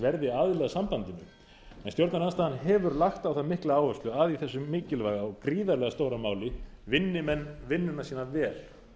verði aðili að sambandinu en stjórnarandstaðan hefur lagt á það mikla áherslu að í þessu mikilvæga og gríðarlega stóra máli vinni menn vinnuna sína vel